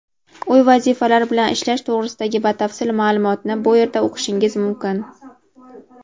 Uy vazifalari bilan ishlash to‘g‘risidagi batafsil ma’lumotni bu yerda o‘qishingiz mumkin.